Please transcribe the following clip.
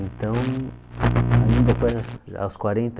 Então aos quarenta